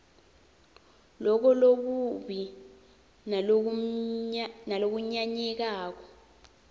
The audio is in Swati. loko lokubi nalokunyanyekako